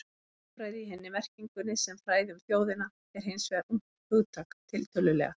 Þjóðfræði í hinni merkingunni, sem fræði um þjóðina, er hins vegar ungt hugtak, tiltölulega.